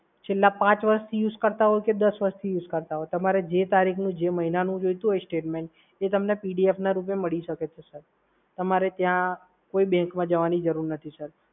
છેલ્લા પાંચ વર્ષથી યુઝ કરતાં હોય કે દસ વર્ષથી યુઝ કરતાં હોય, તમારે જે તારીખનું, જે મહિનાનું જોઈતું હોય statement એ તમને PDF ના રૂપે મળી શકે છે સર. તમારે ત્યાં કોઈ bank માં જવાની જરૂર નથી સર.